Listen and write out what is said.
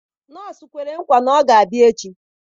Nọọsụ kwere nkwa na ọ ga-abịa echi